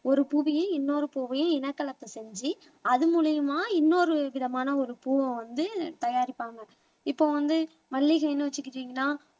ஒரு பூவையும் இன்னொரு பூவையும் இனக்கலப்பு செஞ்சு அது மூலியமா இன்னொரு விதமான ஒரு பூவை வந்து தயாரிப்பாங்க இப்ப வந்து மல்லிகைன்னு வச்சுக்கிட்டீங்கன்னா